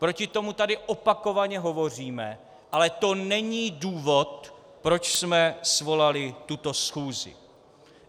Proti tomu tady opakovaně hovoříme, ale to není důvod, proč jsme svolali tuto schůzi.